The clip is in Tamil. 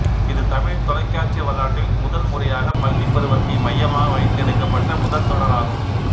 இது தமிழ் தொலைக்காட்சி வரலாற்றில் முதல் முறையாக பள்ளி பருவத்தை மையமாக வைத்து எடுக்கப்பட்ட முதல் தொடர் ஆகும்